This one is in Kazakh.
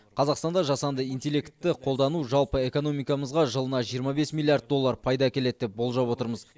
қазақстанда жасанды интеллектті қолдану жалпы экономикамызға жылына жиырма бес миллиард доллар пайда әкеледі деп болжап отырмыз